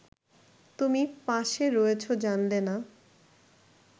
তুমি পাশে রয়েছো জানলে না